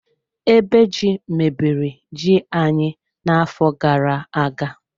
Ebe ji, mebiri ji anyị na-afọ gara-aga